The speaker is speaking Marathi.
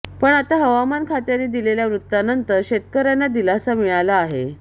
पण आता हवामान खात्याने दिलेल्या वृत्तानंतर शेतकऱ्यांना दिलासा मिळाला आहे